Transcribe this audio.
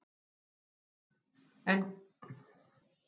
En hvað fór úrskeiðis?